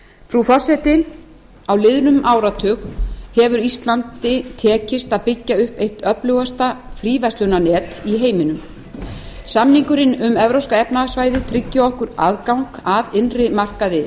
frú forseti á liðnum áratug hefur íslandi tekist að byggja upp eitt öflugasta fríverslunarnet í heiminum samningurinn um evrópska efnahagssvæðið tryggir okkur aðgang að innri markaði